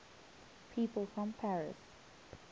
people from paris